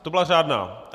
To byla řádná?